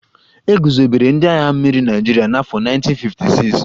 E guzobere ndị agha mmiri Naịjirịa na afọ 1956